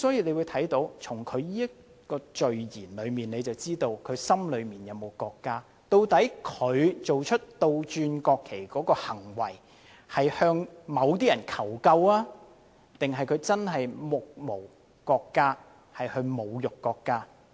因此，從序言可見他心中有沒有國家，究竟他做出把國旗倒轉擺放的行為是向某些人求救，還是他真的目無國家，侮辱國家？